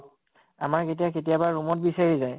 আমাক এতিয়া কেতিয়াবা room অত বিচাৰি যায়